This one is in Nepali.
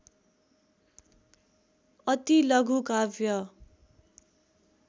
अति लघु काव्य